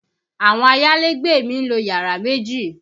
Àwọn ayálégbé mi ń lo yàrá méjì